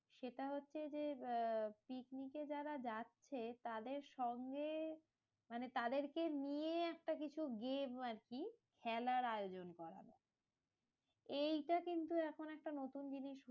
সেটা হচ্ছে যে, আহ পিকনিকে যারা যাচ্ছে তাদের সঙ্গে, মানে তাদেরকে নিয়ে একটা কিছু game আরকি, খেলার আয়োজন করা। এইটা কিন্তু এখন একটা নতুন জিনিস হয়েছে।